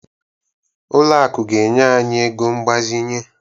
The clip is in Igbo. Ụlọ akụ ga-enye anyị ego mgbazinye